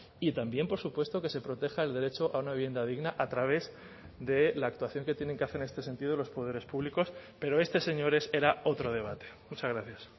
y también por supuesto que se proteja el derecho a una vivienda digna a través de la actuación que tienen que hacer en este sentido los poderes públicos pero este señores era otro debate muchas gracias